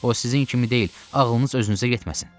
O sizin kimi deyil, ağlınız özünüzə getməsin.